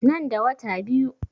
Nan da wata biyu